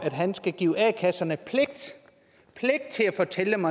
at give a kasserne pligt til at fortælle om